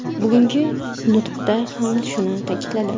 Bugungi nutqida ham shuni ta’kidladi.